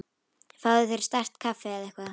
Fáðu þér sterkt kaffi eða eitthvað.